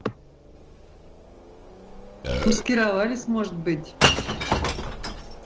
маскировались может быть